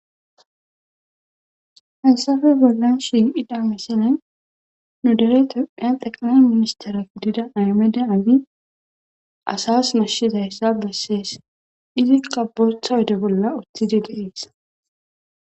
hessafe bollan shim7ida misiney nu dere tomphiya teqnan ministere gidida aymeda ami asas mashsheza hessa bessees izi qabotha wode bolla uthidi geees